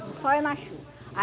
No sol e na chuva.